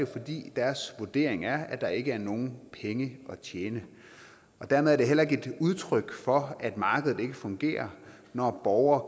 fordi deres vurdering er at der ikke er nogen penge at tjene og dermed er det heller ikke et udtryk for at markedet ikke fungerer når borgere